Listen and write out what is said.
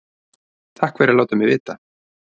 Takk fyrir að láta mig vita